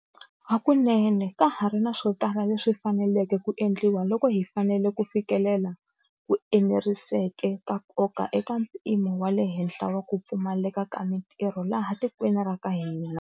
Hakunene, ka ha ri na swo tala leswi faneleke ku endliwa loko hi fanele ku fikelela ku eneriseka ka nkoka eka mpimo wa le henhla wa ku pfumaleka ka mitirho laha tikweni ra ka hina.